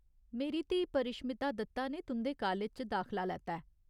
मेरी धीऽ परिश्मिता दत्ता ने तुंʼदे कालज च दाखला लैता ऐ।